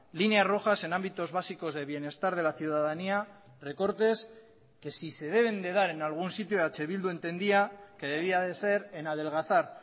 líneas rojas en ámbitos básicos de bienestar de la ciudadanía recortes que si se deben de dar en algún sitio eh bildu entendía que debía de ser en adelgazar